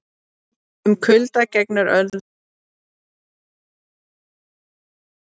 Um kulda gegnir öðru máli: Kuldi er ekkert nema skortur á hita!